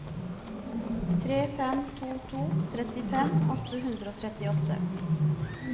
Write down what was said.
tre fem to to trettifem åtte hundre og trettiåtte